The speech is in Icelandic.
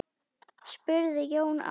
spurði Jón Ármann.